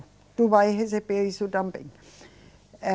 Tu vai receber isso também. Eh